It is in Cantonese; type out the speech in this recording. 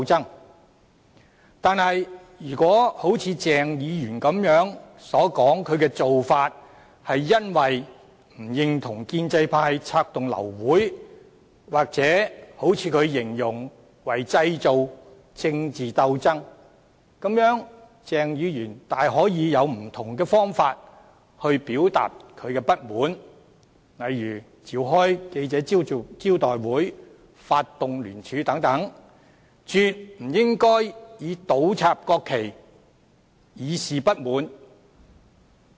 然而，如果一如鄭議員所說般，他的做法是為了表示不認同建制派策動流會或他所形容的製造政治鬥爭，鄭議員大可透過不同方法表達不滿，例如召開記者招待會、發動聯署等，絕不應以倒插國旗以示不滿。